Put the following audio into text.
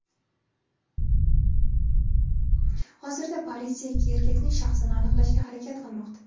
Hozirda politsiya ikki erkakning shaxsini aniqlashga harakat qilmoqda.